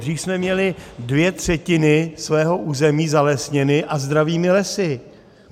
Dříve jsme měli dvě třetiny svého území zalesněny, a zdravými lesy.